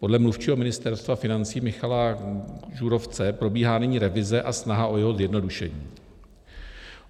Podle mluvčího Ministerstva financí Michala Žurovce probíhá nyní revize a snaha o jeho zjednodušení.